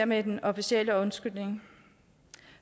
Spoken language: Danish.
med den officielle undskyldning